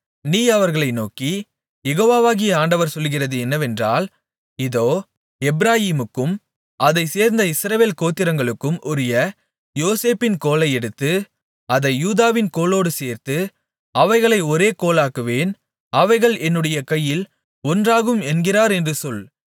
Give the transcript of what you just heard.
நீ அவர்களை நோக்கி யெகோவாகிய ஆண்டவர் சொல்லுகிறது என்னவென்றால் இதோ எப்பிராயீமுக்கும் அதைச் சேர்ந்த இஸ்ரவேல் கோத்திரங்களுக்கும் உரிய யோசேப்பின் கோலை எடுத்து அதை யூதாவின் கோலோடு சேர்த்து அவைகளை ஒரே கோலாக்குவேன் அவைகள் என்னுடைய கையில் ஒன்றாகும் என்கிறார் என்று சொல்